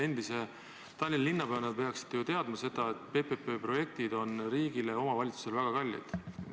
Endise Tallinna linnapeana te peaksite ju teadma seda, et PPP projektid on riigile ja omavalitsusele väga kallid.